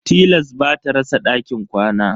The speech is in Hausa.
Tilas ba ta rasa dakin kwana.